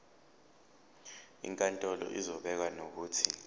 inkantolo izobeka nokuthi